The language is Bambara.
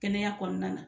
Kɛnɛya kɔnɔna na